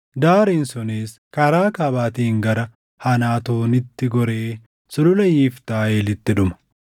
Daariin sunis karaa kaabaatiin gara Hanaatoonitti goree Sulula Yiftaa Eelitti dhuma.